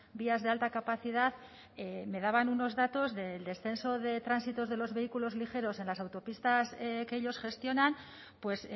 vías de alta capacidad me daban unos datos del descenso de tránsito de los vehículos ligeros en las autopistas que ellos gestionan pues